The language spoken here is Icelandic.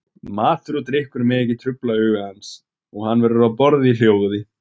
Matur og drykkur mega ekki trufla huga hans, og hann verður að borða í hljóði.